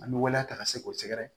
An bɛ waleya ta ka se k'o sɛgɛrɛ